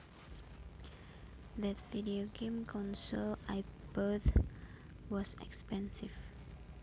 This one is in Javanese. That video game console I bought was expensive